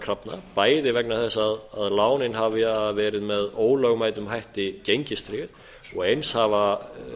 krafna bæði vegna þess að lánin hafi verið með ólögmætum hætti gengistryggð og eins hafa